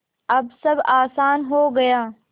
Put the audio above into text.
अब सब आसान हो गया